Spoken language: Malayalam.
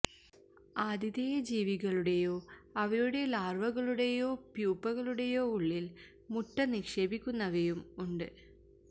ആതിഥേയ ജീവികളുടേയോ അവയുടെ ലാർവകളുടേയോ പ്യൂപ്പകളുടെയോ ഉള്ളിൽ മുട്ട നിക്ഷേപിക്കുന്നവയും ഉണ്ട്